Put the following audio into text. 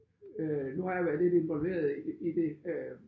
Øh nu har jeg været lidt involveret i i det øh